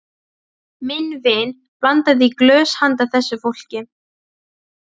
Minn vin blandaði í glös handa þessu fólki.